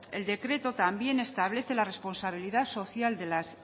el decreto también establece la responsabilidad social de las